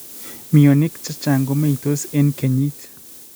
Mionik chechang' komeitos eng' kenyiit